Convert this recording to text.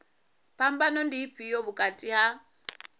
phambano ndi ifhio vhukati ha